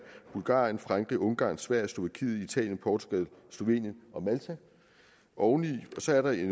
bulgarien frankrig ungarn sverige slovakiet italien portugal slovenien og malta og så er der